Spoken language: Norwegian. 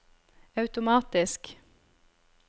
automatisk